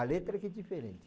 A letra aqui é diferente.